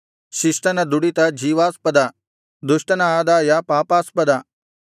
ಶಿಷ್ಟನ ದುಡಿತ ಜೀವಾಸ್ಪದ ದುಷ್ಟನ ಆದಾಯ ಪಾಪಾಸ್ಪದ